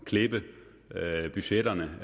klippe budgetterne